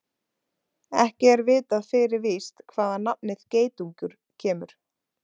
Ekki er vitað fyrir víst hvaðan nafnið geitungur kemur.